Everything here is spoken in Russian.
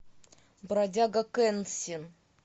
бродяга кэнсин